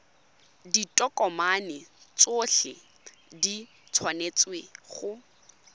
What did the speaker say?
ditokomane tsotlhe di tshwanetse go